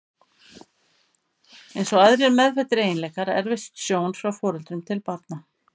Eins og aðrir meðfæddir eiginleikar erfist sjón frá foreldrum til barna.